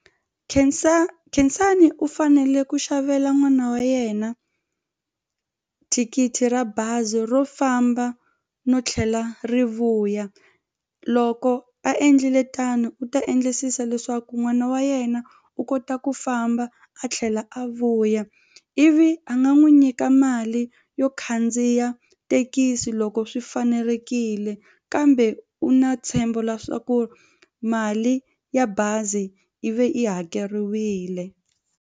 Khensani u fanele ku xavela n'wana wa yena thikithi ra bazi ro famba no tlhela ri vuya. Loko a endlile tano u ta endlisisa leswaku n'wana wa yena u kota ku famba a tlhela a vuya ivi a nga n'wi nyika mali yo khandziya thekisi loko swi fanelekile kambe u na ntshembo leswaku mali ya bazi ivi yi hakeriwile.